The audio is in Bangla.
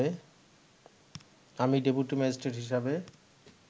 আমি ডেপুটি ম্যাজিস্ট্রেট হিসেবে